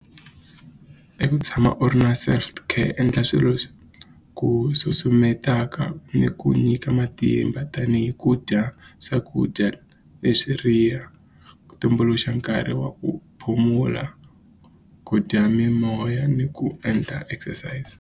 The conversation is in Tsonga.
I ku tshama u ri na endla swilo swi ku susumetelaka ni ku nyika matimba tanihi ku dya swakudya ku tumbuluxa nkarhi wa ku ku dya mimoya ni ku endla exercise.